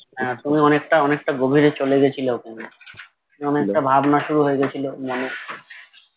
হ্যাঁ তুমি অনেকটা অনেকটা গভীরে চলে গেছিলে ওকে নিয়ে অনেকটা ভাবনা শুরু হয়ে গেছিলো মনে